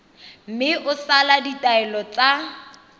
mme o sale ditaelo tsa